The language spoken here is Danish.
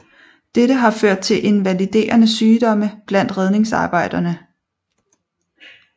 Dette har ført til invaliderende sygdomme blandt redningsarbejderne